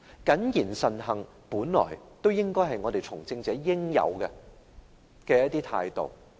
謹言慎行從來就是從政者的應有態度。